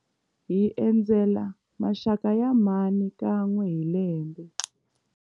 Hi endzela maxaka ya mhani kan'we hi lembe.